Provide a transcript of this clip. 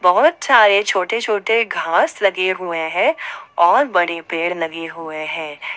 बहोत सारे छोटे छोटे घास लगे हुए हैं और बड़े पेड़ लगे हुए हैं।